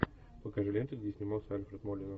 покажи ленту где снимался альфред молина